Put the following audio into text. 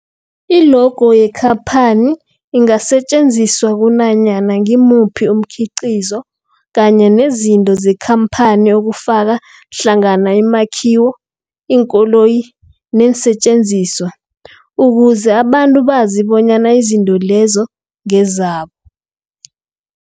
I-logo yekhaphani ingasetjenziswa kunanyana ngimuphi umkhiqizo kanye nezinto zekhamphani okufaka hlangana imakhiwo, iinkoloyi neensentjenziswa ukuze abantu bazi bonyana izinto lezo ngezabo.